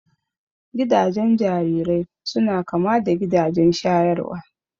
Gidajen jarirai suna kama da gidajen shayarwa